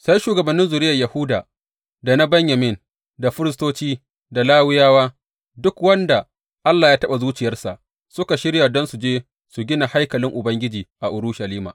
Sai shugabannin zuriyar Yahuda da na Benyamin, da firistoci da Lawiyawa, duk wanda Allah ya taɓa zuciyarsa, suka shirya don su je su gina haikalin Ubangiji a Urushalima.